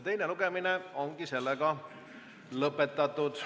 Teine lugemine on lõppenud.